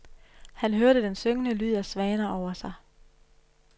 Han hørte den syngende lyd af svaner over sig.